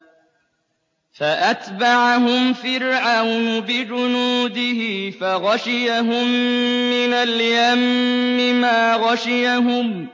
فَأَتْبَعَهُمْ فِرْعَوْنُ بِجُنُودِهِ فَغَشِيَهُم مِّنَ الْيَمِّ مَا غَشِيَهُمْ